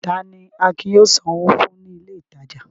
Ta ni Akin yóò sanwó fún ní ilé-ìtajà?